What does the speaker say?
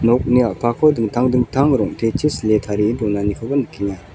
nokni a·pako dingtang dingtang rong·techi sile tarie donanikoba nikenga.